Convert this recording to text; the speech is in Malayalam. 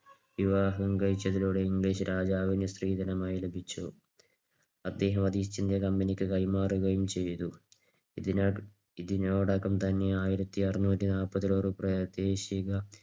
വിവാഹം കഴിച്ചതിലൂടെ ഇംഗ്ലീഷ് രാജാവിന് സ്ത്രീധനമായി ലഭിച്ചു. അദ്ദേഹം അത് east india company ക്ക് കൈമാറുകയും ചെയ്തു. ഇതിനോ ഇതിനോടകം തന്നെ ആയിരത്തിഅറുനൂറ്റിനാല്പത് ഒരു പ്രാദേശിക